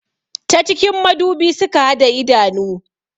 Ta cikin madubi suka hada idanu